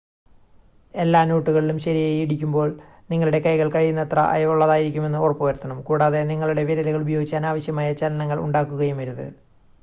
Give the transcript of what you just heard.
എല്ലാ നോട്ടുകളിലും ശരിയായി ഇടിക്കുമ്പോൾ നിങ്ങളുടെ കൈകൾ കഴിയുന്നത്ര അയവുള്ളതായിരിക്കുന്നെന്ന് ഉറപ്പുവരുത്തണം കൂടാതെ നിങ്ങളുടെ വിരലുകൾ ഉപയോഗിച്ച് അനാവശ്യമായ ചലനങ്ങൾ ഉണ്ടാക്കുകയുമരുത്